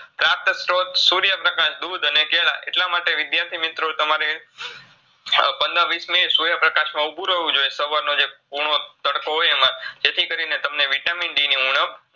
પ્રાપ્તસ્ત્રોત સૂર્યપ્રકાશ, દુધ અને કેળાં એટલામાટે વિદ્યાર્થી મિત્રો તમારે પંદરવીસ મિનિટ સૂર્યપ્રકાશમાં ઊભું રેવું જોઈએ સવારનો જે કૂણો તડકો હોય જેથીકરીને તમને Vitamin D ની ઉણબ